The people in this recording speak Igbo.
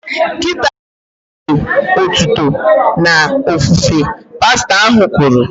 Kịta a bụ oge otuto na ofufe" pastọ ahụ kwuru